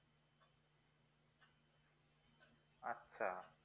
আচ্ছা